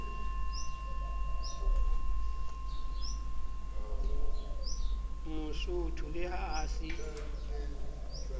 mosotho le ha a se